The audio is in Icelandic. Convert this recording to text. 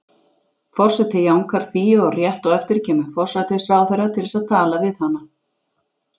Forseti jánkar því, og rétt á eftir kemur forsætisráðherra til þess að tala við hana.